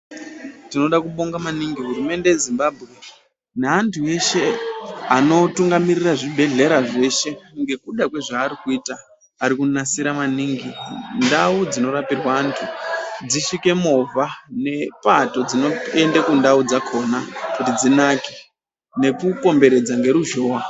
Tinoda kubonga maningi hurumende yeZimbabwe neantu eshe anotungamira zvibhedhlera zveshe. Ngekuda kwezvaari kuita. Ari kunasira maningi ndau dzinorapirwe antu dzisvike movha, nepato dzinoenda kundau dzakhona kuti dzinake nekukomberedza ngeruzhowa.